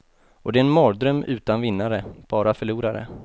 Och det är en mardröm utan vinnare, bara förlorare.